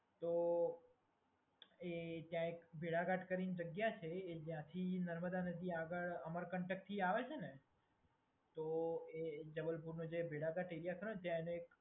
તો ત્યાં એક ભેડાઘાટ કરીને જગ્યા છે ત્યાંથી નર્મદા નદી આગળ અમરકંટકથી એ આવે છે ને? તો એ જબલપુરનો જે ભેડાઘાટ એરિયા ખરોને ત્યાં એને એક